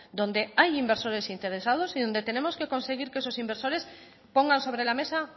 donde hay inversores interesados y donde tenemos que conseguir que esos inversores pongan sobre la mesa